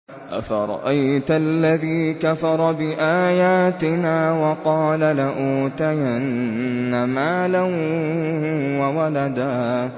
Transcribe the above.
أَفَرَأَيْتَ الَّذِي كَفَرَ بِآيَاتِنَا وَقَالَ لَأُوتَيَنَّ مَالًا وَوَلَدًا